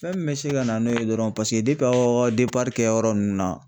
Fɛn min bɛ se ka na n'o ye dɔrɔn paseke aw ka kɛyɔrɔ nunnu na.